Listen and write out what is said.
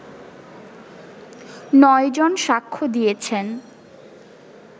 নয় জন সাক্ষ্য দিয়েছেন